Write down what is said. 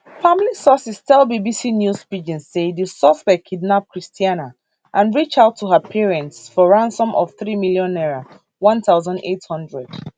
family sources tell bbc news pidgin say di suspect kidnap christianah and reach out to her parents for ransom of three million naira one thousand eight hundred